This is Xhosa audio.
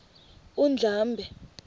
undlambe